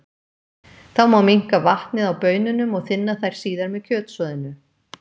Þá má minnka vatnið á baununum og þynna þær síðar með kjötsoðinu.